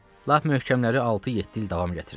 Lap möhkəmləri altı-yeddi il davam gətirir.